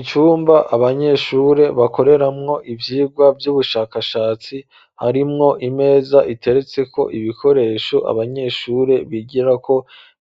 icumba abanyeshure bakoreramwo ivyigwa vy'ubushakashatsi harimwo imeza iteretseko ibikoresho abanyeshure bigirako